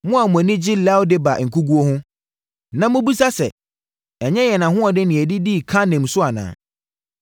Mo a moani gye Lo-debar nkoguo ho, na mobisa sɛ, “Ɛnyɛ yɛn ahoɔden na yɛde dii Karnaim so anaa?”